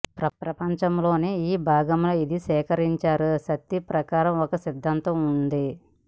ప్రపంచంలోని ఈ భాగం లో ఇది సేకరించారు శక్తి ప్రకారం ఒక సిద్ధాంతం ఉంది